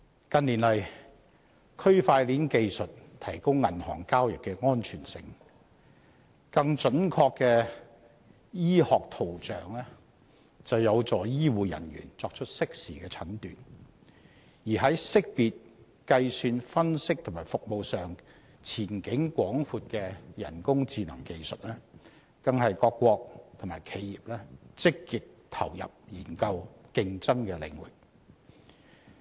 近年來，區塊鏈技術提高銀行交易的安全性；更準確的醫學圖像有助醫護人員作出適時的診斷；而識別、計算、分析及服務上前景廣闊的人工智能技術，更是各國及企業積極投入研究、競爭的領域。